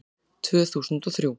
Tvö þúsund og þrjú